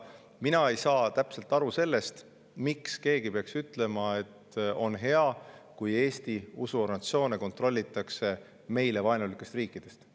Mina ei saa täpselt aru, miks keegi peaks ütlema, et on hea, kui Eesti usuorganisatsioone kontrollitakse meile vaenulikest riikidest.